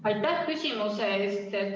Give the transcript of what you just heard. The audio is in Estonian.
Aitäh küsimuse eest!